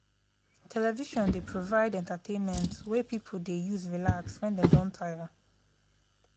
television dey provide entertainment wey pipo dey use relax wen dem don tire.